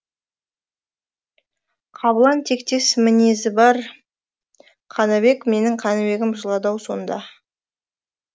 қабылан тектес мінезі бар қаныбек менің қаныбегім жылады ау сонда